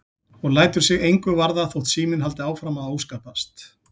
Og lætur sig engu varða þótt síminn haldi áfram að óskapast.